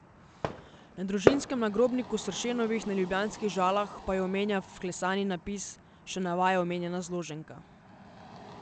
Na družinskem nagrobniku Sršenovih na ljubljanskih Žalah pa jo omenja vklesani napis, še navaja omenjena zloženka.